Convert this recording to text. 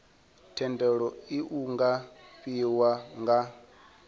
thendelo iu nga fhiwa nga